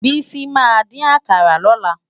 Bisi má din àkárá lòlá